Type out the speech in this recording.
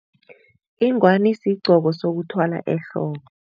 Ingwani sigqoko sokuthwala ehloko.